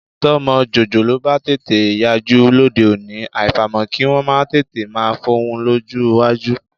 Tọ́mọ jòjòló bá tètè yajú lóde òní, àfàìmọ̀ kí wọn máa tètè máa fọhùn lọ́jọ́ iwájú.